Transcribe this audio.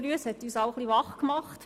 Sie hat uns alle etwas wach gemacht.